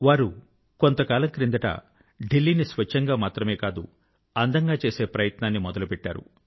వారు కొంత కాలం క్రిందట ఢిల్లీ ని స్వచ్ఛంగా మాత్రమే కాదు అందంగా చేసే ప్రయత్నాన్ని మొదలు పెట్టారు